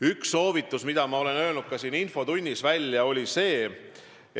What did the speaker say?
Üks soovitusi, mille ma olen välja öelnud ka siin infotunnis, oli järgmine.